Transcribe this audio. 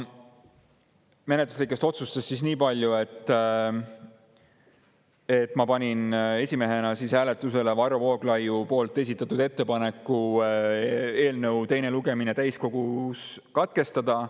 Nendest niipalju, et ma panin esimehena hääletusele Varro Vooglaiu esitatud ettepaneku eelnõu teine lugemine täiskogus katkestada.